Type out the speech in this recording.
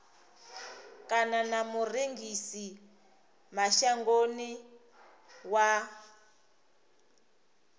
kana na murengisi mashangoni wa